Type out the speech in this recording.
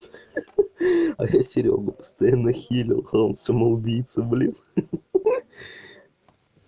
ха-ха а я серёгу постоянно хилил а он самоубийца блин ха-ха